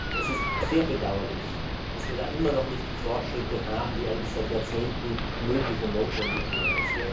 Es ist sehr bedauerlich, dass wir da noch immer nicht die Fortschritte haben, die eigentlich seit Jahrzehnten möglich und notwendig wären.